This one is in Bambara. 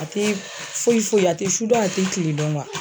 A tɛ foyi foyi a tɛ fuba a tɛ kilen dɔn wa